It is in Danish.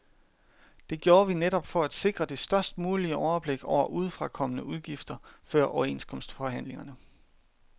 Det gjorde vi netop for at sikre det størst mulige overblik over udefrakommende udgifter før overenskomstforhandlingerne.